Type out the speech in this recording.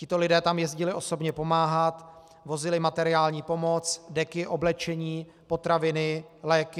Tito lidé tam jezdili osobně pomáhat, vozili materiální pomoc, deky, oblečení, potraviny, léky.